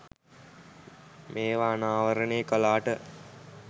මේව අනාවරනය කලාට